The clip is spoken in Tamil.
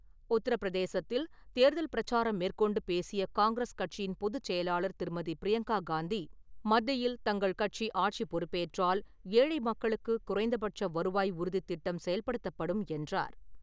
உத்தரப்பிரதேசத்தில் தேர்தல் பிரச்சாரம் மேற்கொண்டு பேசிய காங்கிரஸ் கட்சியின் பொதுச் செயலாளர் திருமதி. பிரியங்கா காந்தி, மத்தியில் தங்கள் கட்சி ஆட்சிப் பொறுப்பேற்றால், ஏழை மக்களுக்கு குறைந்தபட்ச வருவாய் உறுதி திட்டம் செயல்படுத்தப்படும் என்றார்.